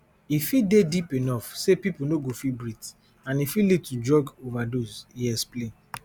e fit dey deep enough say pipo no go fit breathe and e fit lead to drug overdose e explain